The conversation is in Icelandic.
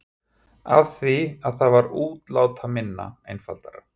Af því að það var útlátaminna, einfaldara.